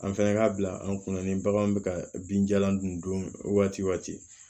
An fɛnɛ ka bila an kunna ni bagan bɛ ka binjalan dun waati